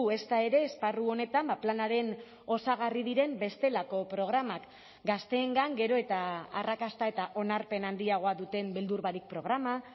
ezta ere esparru honetan planaren osagarri diren bestelako programak gazteengan gero eta arrakasta eta onarpen handiagoa duten beldur barik programa